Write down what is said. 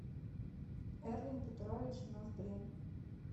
эрвин петрович ноздрин